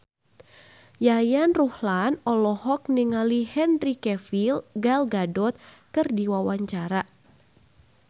Yayan Ruhlan olohok ningali Henry Cavill Gal Gadot keur diwawancara